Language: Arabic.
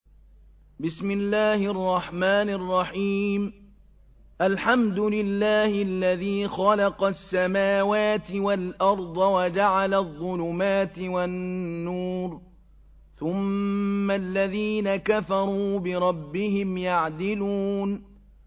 الْحَمْدُ لِلَّهِ الَّذِي خَلَقَ السَّمَاوَاتِ وَالْأَرْضَ وَجَعَلَ الظُّلُمَاتِ وَالنُّورَ ۖ ثُمَّ الَّذِينَ كَفَرُوا بِرَبِّهِمْ يَعْدِلُونَ